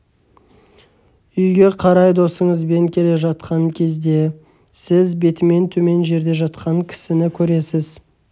үйге қарай досыңызбен келе жатқан кезде сіз бетімен төмен жерде жатқан кісіні көресіз